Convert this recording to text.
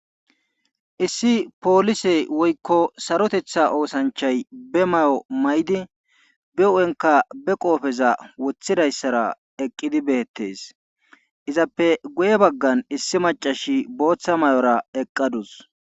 Issi poolise woykko sarotetha oosanchay be mayo mayidi be huuphenkk abe qoopheza wothidayssara eqqidi beetees.izappe guye bagan issi macasi booththa mayora eqqawus.